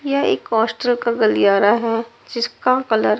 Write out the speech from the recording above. ये एक कॉस्टल का गलियारा है जिसका कलर --